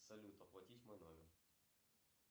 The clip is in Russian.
салют оплатить мой номер